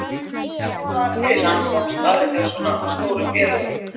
En hvernig kom það til að hann komst að hjá svona stórum félögum?